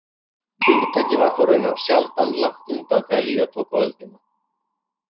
Hugtakið var þó raunar sjaldan langt undan þegar líða tók á öldina.